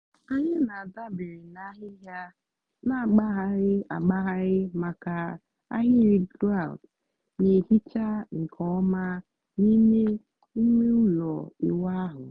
anyị na-adabere na ahịhịa na-agbagharị agbagharị maka ahịrị grout na-ehicha nke ọma n'ime ime ụlọ ịwụ ahụ.